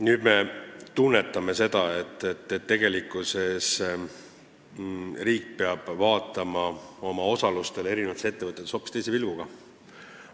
Nüüd me tunnetame seda, et tegelikkuses riik peab vaatama oma osalustele eri ettevõtetes hoopis teise pilguga.